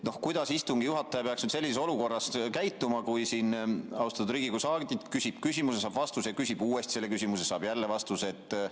Kuidas istungi juhataja peaks sellises olukorras käituma, kui austatud Riigikogu saadik küsib küsimuse ja saab vastuse ning küsib uuesti selle küsimuse ja saab jälle vastuse?